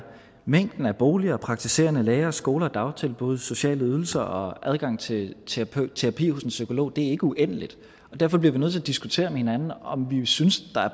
mængden af boliger praktiserende læger skoler dagtilbud sociale ydelser og adgang til til terapi hos en psykolog ikke er uendelig og derfor bliver vi nødt til at diskutere med hinanden om vi synes